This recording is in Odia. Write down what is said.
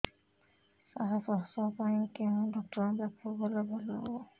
ସାର ପ୍ରସବ ପାଇଁ କେଉଁ ଡକ୍ଟର ଙ୍କ ପାଖକୁ ଗଲେ ଭଲ ହେବ